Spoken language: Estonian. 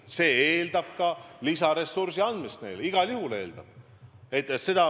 Ja see eeldab neile lisaressursi andmist – igal juhul eeldab.